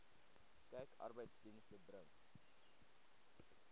kyk arbeidsdienste bring